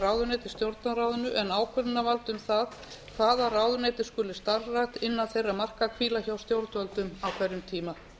í stjórnarráðinu en ákvörðunarvald um það hvaða ráðuneyti skuli starfrækt innan þeirra marka hvíla hjá stjórnvöldum á hverjum tíma